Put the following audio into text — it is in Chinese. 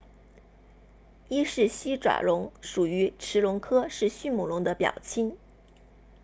伊氏西爪龙属于驰龙科是迅猛龙的表亲